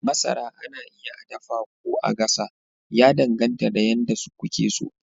Masara ana iya a dafa ko a gasa, ya danganta da yadda kuke so.